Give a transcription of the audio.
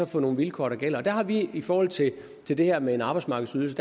for nogle vilkår der gælder og der har vi i forhold til det det her med en arbejdsmarkedsydelse